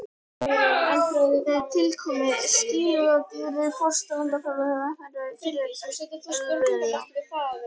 Með tilkomu skriðdýranna hófst landnám hryggdýranna fyrir alvöru.